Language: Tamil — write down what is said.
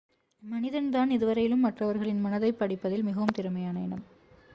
மனிதன்தான் இதுவரையிலும் மற்றவர்களின் மனதைப் படிப்பதில் மிகவும் திறமையான இனம்